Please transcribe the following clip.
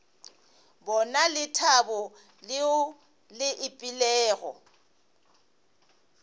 bona lethabo leo le ipeilego